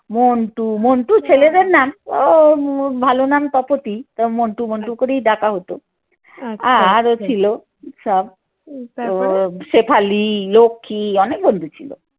মন্টু মন্টু ছেলেদের নাম তা ওর ভালো নাম কপতি। তো মন্টু মন্টু করেই ডাকা হতো। আর ও ছিল সব তো শেফালী, লক্ষ্মী, অনেক বন্ধু ছিল.